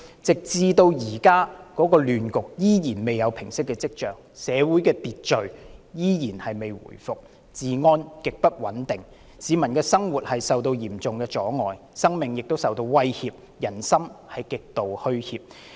這個亂局至今尚未見平息跡象，社會秩序依然未回復，治安極不穩定，市民的生活受到嚴重阻礙，生命亦受到威脅，人心極度虛怯。